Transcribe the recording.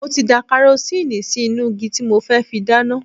Mo ti da karosíìnì sí inú igi tí mo fẹ́ fi dáná.